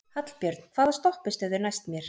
Hallbjörn, hvaða stoppistöð er næst mér?